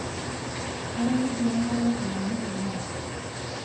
ero kitii enkalo inamotonyi